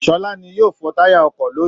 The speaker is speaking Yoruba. Sọlá ni yóò fọ táyà ọkọ lónìí